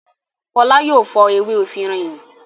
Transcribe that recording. Fọlá yóò fọ ewé efirin yìí.